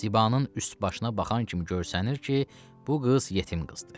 Zibanın üst başına baxan kimi görsənir ki, bu qız yetim qızdır.